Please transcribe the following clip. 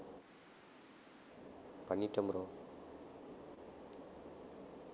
பண்ணிட்டேன் bro